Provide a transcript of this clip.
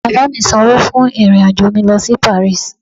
Baba mi sańwo fún irin ajọ mi lo si paris